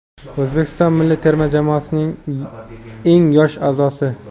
O‘zbekiston milliy terma jamoasining eng yosh aʼzosi.